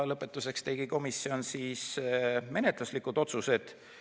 Lõpetuseks tegi komisjon menetluslikud otsused.